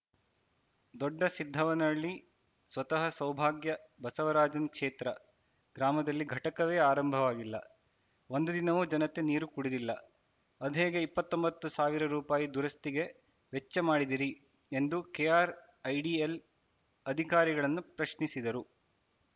ದೊಡ್ಡಸಿದ್ದವ್ವನಹಳ್ಳಿ ಸ್ವತಹ ಸೌಭಾಗ್ಯ ಬಸವರಾಜನ್‌ ಕ್ಷೇತ್ರ ಗ್ರಾಮದಲ್ಲಿ ಘಟಕವೇ ಆರಂಭವಾಗಿಲ್ಲ ಒಂದು ದಿನವೂ ಜನತೆ ನೀರು ಕುಡಿದಿಲ್ಲ ಅದ್ಹೇಗೆ ಇಪ್ಪತ್ತೊಂಬತ್ತು ಸಾವಿರ ರುಪಾಯಿ ದುರಸ್ತಿಗೆ ವೆಚ್ಚ ಮಾಡಿದಿರಿ ಎಂದು ಕೆಆರ್‌ಐಡಿಎಲ್‌ ಅಧಿಕಾರಿಗಳನ್ನು ಪ್ರಶ್ನಿಸಿದರು